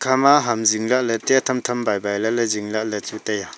hama hamzing lah ley tham tham bhai bhai ley zing lah ley chu tai a.